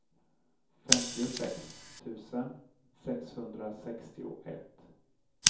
femtiosex tusen sexhundrasextioett